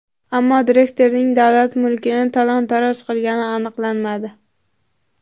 Ammo direktorning davlat mulkini talon-taroj qilgani aniqlanmadi.